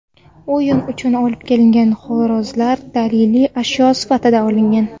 O‘yin uchun olib kelingan xo‘rozlar daliliy ashyo sifatida olingan.